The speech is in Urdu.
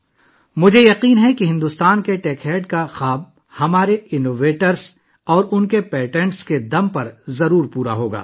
مجھے یقین ہے کہ بھارت کے ٹیک ایڈ کا خواب یقینی طور پر ہمارے اختراع کاروں اور ان کے پیٹنٹ کی طاقت سے پورا ہوگا